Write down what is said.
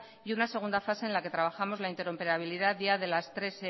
y una segunda fase en la que trabajamos la interoperabilidad ya de las tres